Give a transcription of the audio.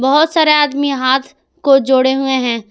बहोत सारे आदमी हाथ को जोड़े हुए हैं।